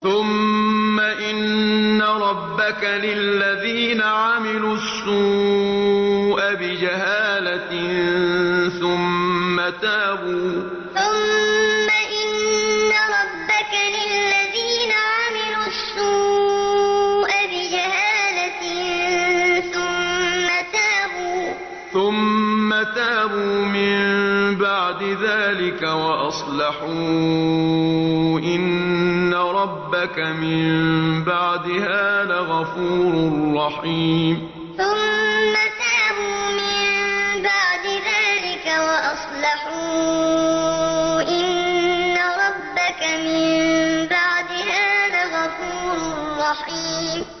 ثُمَّ إِنَّ رَبَّكَ لِلَّذِينَ عَمِلُوا السُّوءَ بِجَهَالَةٍ ثُمَّ تَابُوا مِن بَعْدِ ذَٰلِكَ وَأَصْلَحُوا إِنَّ رَبَّكَ مِن بَعْدِهَا لَغَفُورٌ رَّحِيمٌ ثُمَّ إِنَّ رَبَّكَ لِلَّذِينَ عَمِلُوا السُّوءَ بِجَهَالَةٍ ثُمَّ تَابُوا مِن بَعْدِ ذَٰلِكَ وَأَصْلَحُوا إِنَّ رَبَّكَ مِن بَعْدِهَا لَغَفُورٌ رَّحِيمٌ